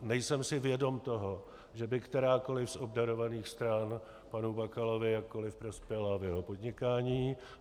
Nejsem si vědom toho, že by kterákoliv z obdarovaných stran panu Bakalovi jakkoliv prospěla v jeho podnikání.